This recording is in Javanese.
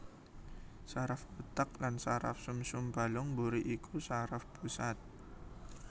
Saraf utek lan saraf sumsum balung mburi iku saraf pusat